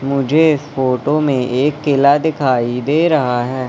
मुझे इस फोटो में एक किला दिखाई दे रहा है।